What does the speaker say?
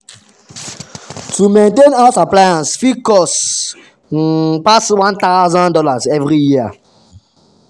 to maintain house appliance fit cost um pass one thousand dollars every year.